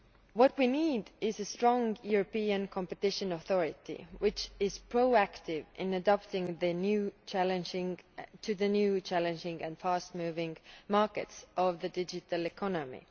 What we need is a strong European competition authority which is proactive in adapting to the new, challenging and fast moving markets of the digital economy.